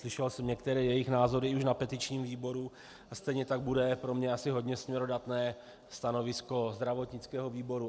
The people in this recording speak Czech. Slyšel jsem některé jejich názory už na petičním výboru a stejně tak bude pro mě asi hodně směrodatné stanovisko zdravotnického výboru.